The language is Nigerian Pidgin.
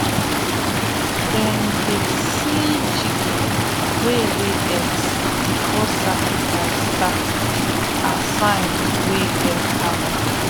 them dey see chicken wey lay eggs before sacrifice start as sign wey get power.